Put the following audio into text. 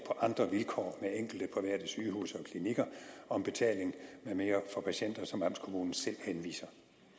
andre vilkår med enkelte private sygehuse og klinikker om betaling med mere for patienter som amtskommunen selv henviser